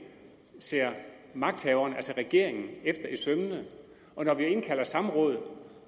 ser magthaverne altså regeringen efter i sømmene og når vi indkalder til samråd